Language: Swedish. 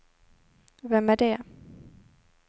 vem är det